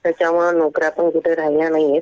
त्याच्यामुळं नोकऱ्या पण कुठं राहिल्या नाहीयेत.